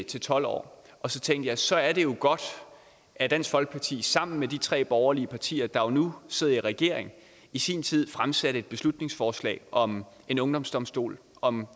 til tolv år og så tænkte jeg at så er det jo godt at dansk folkeparti sammen med de tre borgerlige partier der nu sidder i regering i sin tid fremsatte et beslutningsforslag om en ungdomsdomstol og om